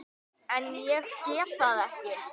En ég get það ekki.